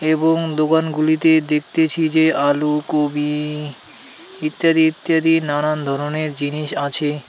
এবং দোকানগুলিতে দেখতেছি যে আলু কপি ইত্যাদি ইত্যাদি নানান ধরনের জিনিস আছে.